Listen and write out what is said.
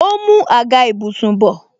Ó ń mú àga ìbùsùn bọ